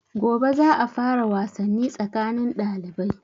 Gobe za a fara wasanni tsakanin ɗalibai.